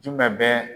Jumɛn bɛ